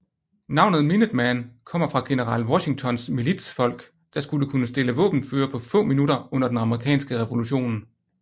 Navnet Minuteman kommer fra general Washingtons militsfolk der skulle kunne stille våbenføre på få minutter under den amerikanske revolution